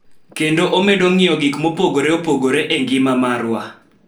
Kendo omedo ng�iyo gik mopogore opogore e ngima marwa.